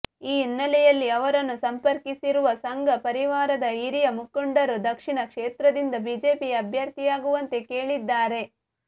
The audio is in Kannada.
ಈ ಹಿನ್ನೆಲೆಯಲ್ಲಿ ಅವರನ್ನು ಸಂಪರ್ಕಿಸಿರುವ ಸಂಘ ಪರಿವಾರದ ಹಿರಿಯ ಮುಖಂಡರು ದಕ್ಷಿಣ ಕ್ಷೇತ್ರದಿಂದ ಬಿಜೆಪಿ ಅಭ್ಯರ್ಥಿಯಾಗುವಂತೆ ಕೇಳಿದ್ದಾರೆ